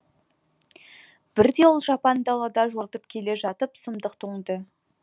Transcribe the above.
бірде ол жапан далада жортып келе жатып сұмдық тоңды